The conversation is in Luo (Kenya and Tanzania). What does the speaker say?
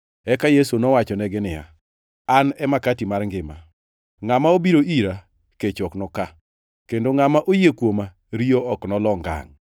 Eka Yesu nowachonegi niya, “An e makati mar ngima. Ngʼama obiro ira kech ok noka, kendo ngʼama oyie kuoma riyo ok nolo ngangʼ.